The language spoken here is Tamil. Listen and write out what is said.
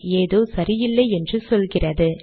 ஏதோ சரியில்லை என்று சொல்லுகிறது